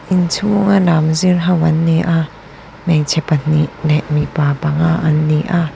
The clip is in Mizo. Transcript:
inchhung a lam zir ho an ni a hmeichhe pahnih leh mipa panga an ni a.